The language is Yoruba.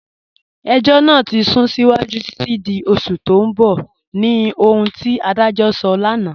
Ẹ̀jọ́ naa ti sún síwájú títi di oṣù tì n bọ̀ ni ohun ti adajọ́ sọ̀ lánà.